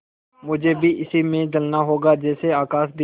मुझे भी इसी में जलना होगा जैसे आकाशदीप